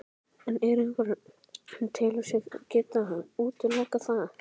En er einhver sem telur sig geta útilokað það?